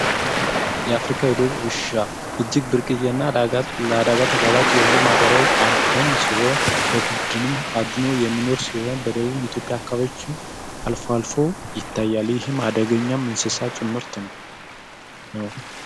የአፍሪካ የዱር ውሻ እጅግ ብርቅዬና ለአደጋ ተጋላጭ የሆነ ማህበራዊ አዳኝ ሲሆን በቡድን አድኖ የሚኖር ሲሆን በደቡብ ኢትዮጵያ ክፍል አልፎ አልፎ ይታያል ይህም አደገኛ እንስሳ ጭምርት ነው።